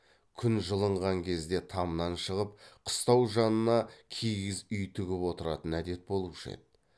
күн жылынған кезде тамнан шығып қыстау жанына киіз үй тігіп отыратын әдет болушы еді